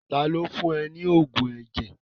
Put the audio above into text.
Taàní ó fún ọ ní oògùn ẹ̀jẹ̀?